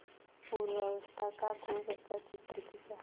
पूर्वावस्था का खूब अच्छा चित्र खींचा